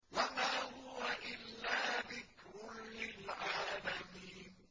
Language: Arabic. وَمَا هُوَ إِلَّا ذِكْرٌ لِّلْعَالَمِينَ